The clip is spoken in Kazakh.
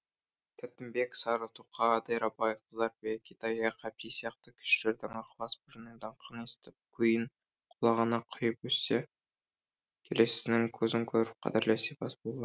тәттімбет сары тоқа дайрабай қыздарбек итаяқ әбди сияқты күйшілердің ықылас бірінің даңқын естіп күйін құлағына құйып өссе келесісінің көзін көріп қадірлес сыйлас болған